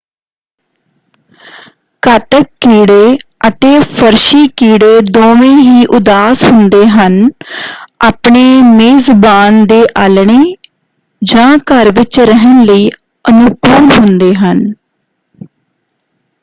ਘਾਤਕ-ਕੀੜੇ ਅਤੇ ਫ਼ਰਸ਼ੀ-ਕੀੜੇ ਦੋਵੇਂ ਹੀ ਉਦਾਸ ਹੁੰਦੇ ਹਨ ਆਪਣੇ ਮੇਜ਼ਬਾਨ ਦੇ ਆਲ੍ਹਣੇ ਜਾਂ ਘਰ ਵਿੱਚ ਰਹਿਣ ਲਈ ਅਨੁਕੂਲ ਹੁੰਦੇ ਹਨ।